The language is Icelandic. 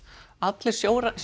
allir